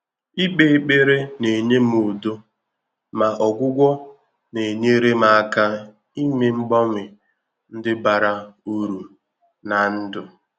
Íkpé ékpèré nà-ényé m údo, mà ọ́gwụ́gwọ́ nà-ényéré m áká ímé mg bànwe ndị́ bàrà úrù n’á ndụ́.